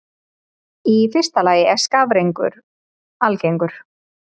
Í fyrsta lagi er skafrenningur algengur.